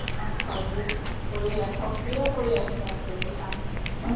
অহ সজীৱ কৰি ৰাখে সক্ৰিয় কৰি ৰাখে আচলতে এই কাম্খিনিয়ে তোমাক